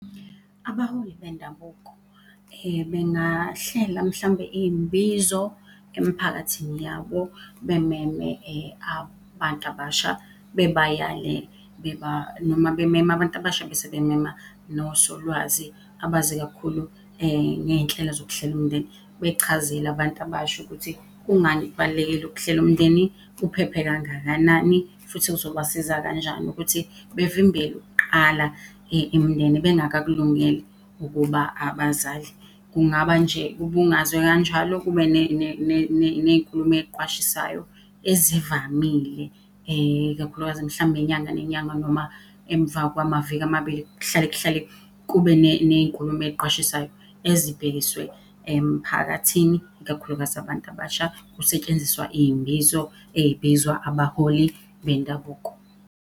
Abaholi bendabuko bengahlela mhlawumbe iy'mbizo emiphakathini yabo bememe abantu abasha bebayale noma bememe abantu abasha bese bemema nosolwazi abazi kakhulu ngey'nhlelo zokuhlela umndeni, bechazele abantu abasha ukuthi kungani kubalulekile ukuhlela umndeni, kuphephe kangakanani futhi kuzobasiza kanjani ukuthi bevimbele ukuqala imindeni bengakakulungele ukuba abazali. Kungaba nje kubungazwe kanjalo kube ney'nkulumo ey'qwashisayo ezivamile, ikakhulukazi mhlawumbe inyanga nenyanga noma emva kwamaviki amabili kuhlale kuhlale kube ney'nkulumo ey'qwashisayo ezibhekiswe emphakathini, ikakhulukazi abantu abasha. Kusetshenziswa iy'mbizo ey'bizwa abaholi bendabuko.